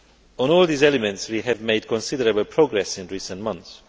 On all these elements we have made considerable progress in recent months.